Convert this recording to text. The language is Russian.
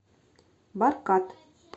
баркад